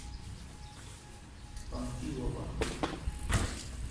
панфилова